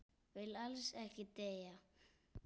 Vill alls ekki deyja.